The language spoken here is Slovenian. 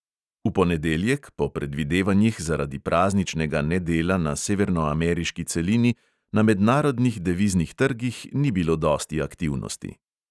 V ponedeljek po predvidevanjih zaradi prazničnega nedela na severnoameriški celini na mednarodnih deviznih trgih ni bilo dosti aktivnosti.